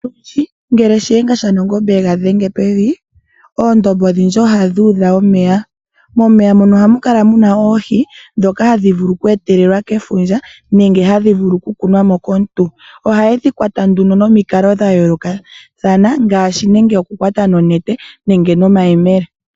Ngele Shiyenga shaNangombe e ga dhenge pevi oondombe odhindji ohadhi udha omeya. Momeya mono ohamu kala mu na oohi ndhoka hadhi vulu okweetelelwa kefundja nenge hadhi vulu okukunwa mo komuntu. Ohaye dhi kwata nduno nomikalo dha yoolokathana ngaashi nenge okukwata nonete nenge nomayemele.